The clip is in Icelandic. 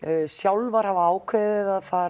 sjálfar hafa ákveðið að fara